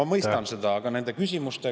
Ma mõistan seda, aga nende küsimustega …